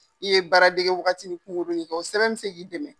I ye baara dege wagati mun kunkurunnin kɛ o sɛbɛn bɛ se k'i dɛmɛ.